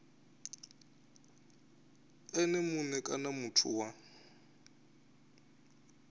ene mue kana muthu wa